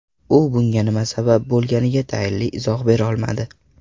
U bunga nima sabab bo‘lganiga tayinli izoh berolmadi.